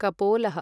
कपोलः